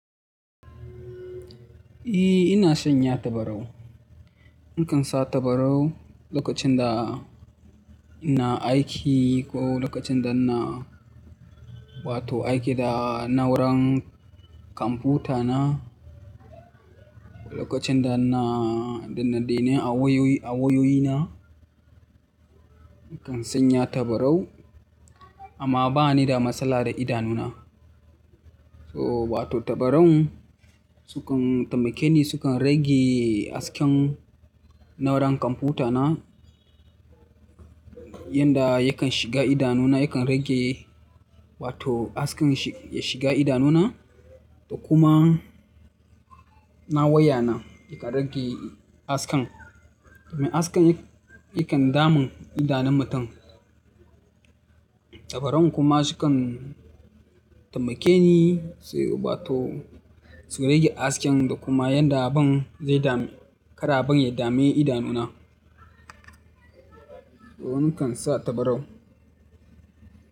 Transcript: Eh, ina sanya tabarau. Nakan sa tabarau lokacin da ina aiki ko lokacin da na, wato aiki da na'uran kwamfuta na. Lokacin da na, dinnan dai nai a wayoyi, a wayoyi na. Nakan sanya tabarau amma bani da matsala da idanu na. So wato tabaran sukan taimake ni sukan rage hasken na'uran kwamfuta na. Yanda yakan shiga idanu na yakan rage wato hasken ya shiga idanu na. Da kuma na waya na yakan rage hasken. Domin hasken yakan damun idanun mutum. Tabaran kuma sukan taimake ni sai wato su rage hasken da kuma yadda abun zai dame, kar abun ya dame idanu na. To nakan sa tabarau.